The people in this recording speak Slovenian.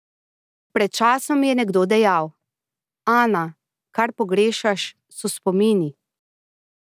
Pred časom mi je nekdo rekel: "Ana, kar pogrešaš, so spomini.